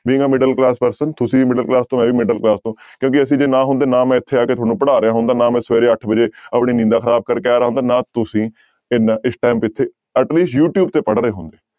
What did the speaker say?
ਵੀ ਮੈਂ middle class person ਤੁਸੀਂ ਵੀ middle class ਤੋਂ ਮੈਂ ਵੀ middle class ਤੋਂ ਕਿਉਂਕਿ ਅਸੀਂ ਜੇ ਨਾ ਹੁੰਦੇ ਨਾ ਮੈਂ ਇੱਥੇ ਆ ਕੇ ਤੁਹਾਨੂੰ ਪੜ੍ਹਾ ਰਿਹਾ ਹੁੰਦਾ, ਨਾ ਮੈਂ ਸਵੇਰੇ ਅੱਠ ਵਜੇ ਆਪਣੀ ਨੀਂਦਾਂ ਖ਼ਰਾਬ ਕਰਕੇ ਆ ਰਿਹਾ ਹੁੰਦਾ, ਨਾ ਤੁਸੀਂ ਇੰਨਾ ਇਸ time ਇੱਥੇ at least ਯੂ ਟਿਉਬ ਤੇ ਪੜ੍ਹ ਰਹੇ ਹੁੰਦੇ।